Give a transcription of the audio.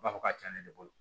U b'a fɔ k'a cɛna ne bolo